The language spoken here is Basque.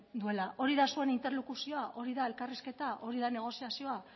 duela hori da zuen interlokuzioa hori da zuen elkarrizketa hori da negoziazioa